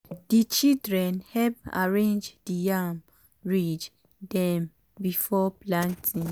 di children help arrange di yam ridge dem before planting.